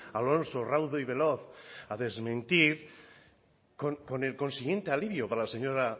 alonso raudo y veloz a desmentir con el consiguiente alivio para la señora